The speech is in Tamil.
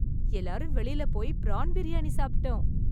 எல்லாரும் வெளியில போய் பிரான் பிரியாணி சாப்பிட்டோம்.